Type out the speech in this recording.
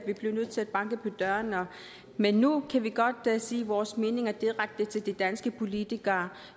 vi blev nødt til at banke på døren men nu kan vi godt sige vores mening direkte til de danske politikere